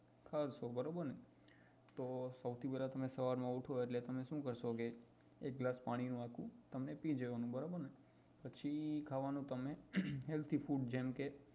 ખાવ છો બરોબર ને સૌથી પહેલા સવારમાં ઉઠો તો તમે શું કરસો કે એક ગ્લાસ પાણી નો આખો પીય જવા નો બરોબર ને પછી ખાવા નું તમને healthy food જેમ કે